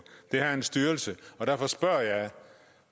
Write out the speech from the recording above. det her er en styrelse og derfor spørger jeg